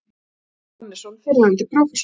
Hannesson, fyrrverandi prófessor.